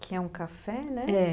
Que é um café, né? é.